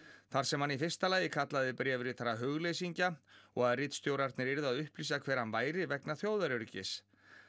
þar sem hann í fyrsta lagi kallaði bréfritara og að ritstjórarnir yrðu að upplýsa hver hann væri vegna þjóðaröryggis